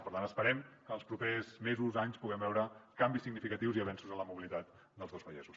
per tant esperem que en els propers mesos anys puguem veure canvis significatius i avenços en la mobilitat dels dos vallesos